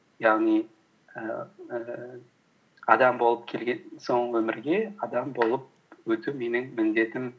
яғни ііі адам болып келген соң өмірге адам болып өту менің міндетім